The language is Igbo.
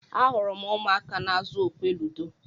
Ahụrụ m ụmụaka n'azụ okwe ludo.